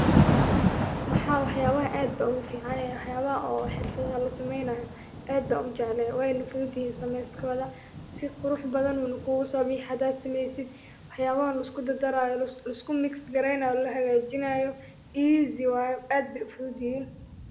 Waxa wax yabaha aad ogu fican wax yabaha oo xirfadaha la saneeynayo aad ban ujeclehe wayna fudud yihiin sameeskoda si qurux badan una kuguso bixi hadad sameeysid waxabaha lisku dardaraayo oo lisku migis kareynayo easy waye aad bay u fudud yihin